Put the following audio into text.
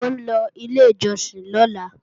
Mò ń lọ ilé ìjọsìn lọ́la